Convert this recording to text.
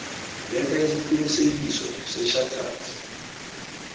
letha isiqinisekiso sechartered